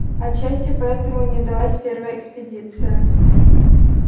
отчасти поэтому и не удалась первая экспедиция